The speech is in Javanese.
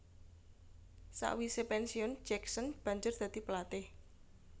Sakwise pensiun Jackson banjur dadi pelatih